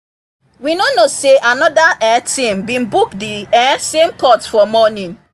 we no know say another um team been book the um same court for morning